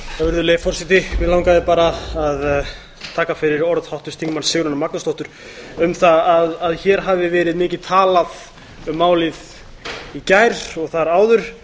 virðulegi forseti mig langaði bara að taka fyrir orð háttvirts þingmanns sigrúnar magnúsdóttur um það að hér hafi verið mikið talað um málið í gær og þar áður